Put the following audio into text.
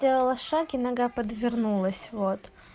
сделала шаг и нога подвернулась вот